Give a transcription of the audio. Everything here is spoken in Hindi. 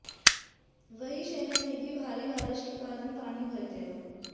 वहीं शहर में भी भारी बारिश के कारण पानी भर गया है